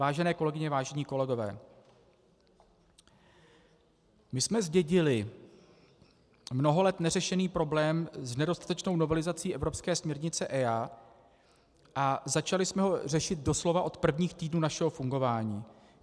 Vážené kolegyně, vážení kolegové, my jsme zdědili mnoho let neřešený problém s nedostatečnou novelizací evropské směrnice EIA a začali jsme ho řešit doslova od prvních týdnů našeho fungování.